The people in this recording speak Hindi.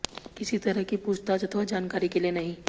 किसी तरह की पूछताछ अथवा जानकारी के लिए नहीं